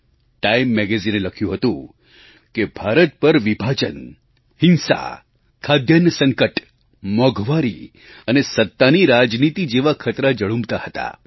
TimeMagazineએ લખ્યું હતું કે ભારત પર વિભાજન હિંસા ખાદ્યાન્ન સંકટ મોંઘવારી અને સત્તાની રાજનીતિ જેવા ખતરા ઝળુંબતા હતા